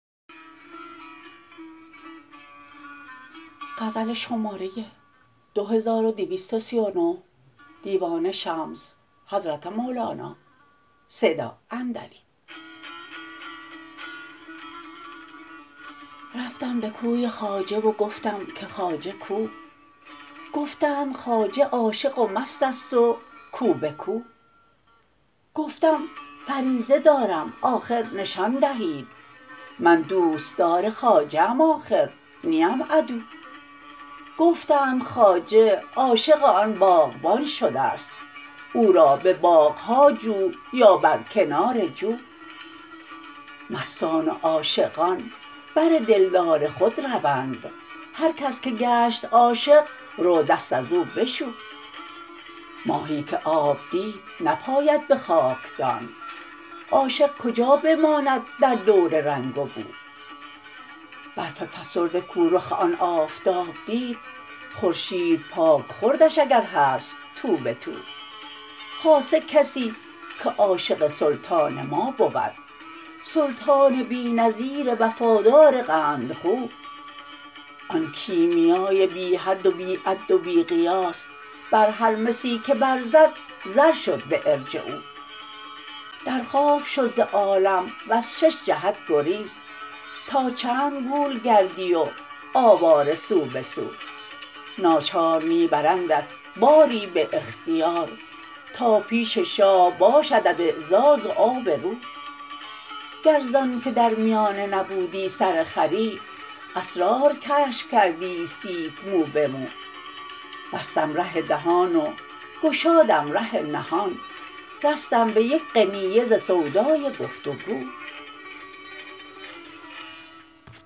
رفتم به کوی خواجه و گفتم که خواجه کو گفتند خواجه عاشق و مست است و کو به کو گفتم فریضه دارم آخر نشان دهید من دوستدار خواجه ام آخر نیم عدو گفتند خواجه عاشق آن باغبان شده ست او را به باغ ها جو یا بر کنار جو مستان و عاشقان بر دلدار خود روند هر کس که گشت عاشق رو دست از او بشو ماهی که آب دید نپاید به خاکدان عاشق کجا بماند در دور رنگ و بو برف فسرده کو رخ آن آفتاب دید خورشید پاک خوردش اگر هست تو به تو خاصه کسی که عاشق سلطان ما بود سلطان بی نظیر وفادار قندخو آن کیمیای بی حد و بی عد و بی قیاس بر هر مسی که برزد زر شد به ارجعوا در خواب شو ز عالم وز شش جهت گریز تا چند گول گردی و آواره سو به سو ناچار می برندت باری به اختیار تا پیش شاه باشدت اعزاز و آبرو گر ز آنک در میانه نبودی سرخری اسرار کشف کردی عیسیت مو به مو بستم ره دهان و گشادم ره نهان رستم به یک قنینه ز سودای گفت و گو